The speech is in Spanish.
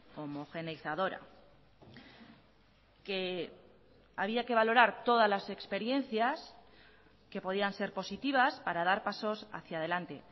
homogeneizadora que había que valorar todas las experiencias que podían ser positivas para dar pasos hacia adelante